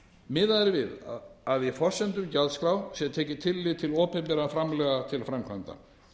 miðað er við að í forsendum gjaldskrár sé tekið tillit til opinberra framlaga til framkvæmda